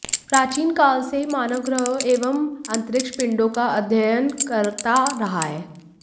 प्राचीन काल से ही मानव ग्रहों एवं अंतरिक्ष पिण्डों का अध्ययन करता रहा है